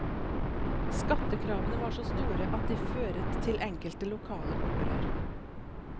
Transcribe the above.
Skattekravene var så store at de føret til enkelte lokale opprør.